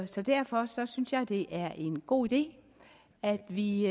så derfor synes jeg at det er en god idé at vi